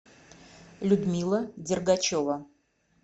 людмила дергачева